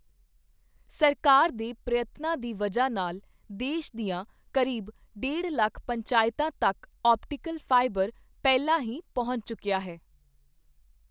ਸਰਕਾਰ ਦੇ ਪ੍ਰਯਤਨਾਂ ਦੀ ਵਜ੍ਹਾ ਨਾਲ ਦੇਸ਼ ਦੀਆਂ ਕਰੀਬ ਡੇਢ ਲੱਖ ਪੰਚਾਇਤਾਂ ਤੱਕ ਔਪਟੀਕਲ ਫਾਈਬਰ ਪਹਿਲਾਂ ਹੀ ਪਹੁੰਚ ਚੁੱਕੀਆ ਹੈ।